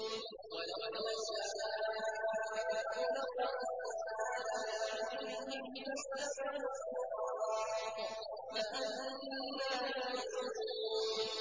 وَلَوْ نَشَاءُ لَطَمَسْنَا عَلَىٰ أَعْيُنِهِمْ فَاسْتَبَقُوا الصِّرَاطَ فَأَنَّىٰ يُبْصِرُونَ